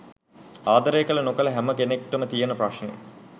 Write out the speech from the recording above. ආදරය කල නොකල හැම කෙනෙක්ටම තියෙන ප්‍රශ්නය.